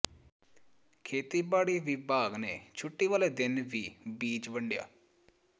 ਖੇਤੀਬਾੜੀ ਵਿਭਾਗ ਨੇ ਛੁੱਟੀ ਵਾਲੇ ਦਿਨ ਵੀ ਬੀਜ ਵੰਡਿਆ